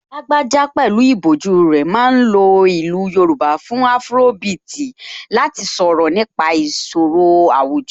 Lágbájá pẹ̀lú ìbòjú rẹ̀ ma ń lo ìlú Yorùbá fún afrobeat láti sọ̀rọ̀ nípa ìṣòro àwùjọ